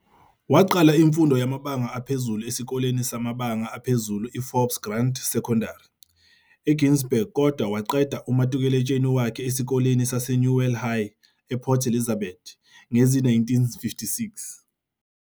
Waqala imfundo yamabanga aphezulu esikoleni samabanga aphezulu eForbes Grant Secondari, eGinsberg kodwa waqeda umatukuletsheni wakhe esikoleni saseNewell High ePort Elizabeth ngezi-1956.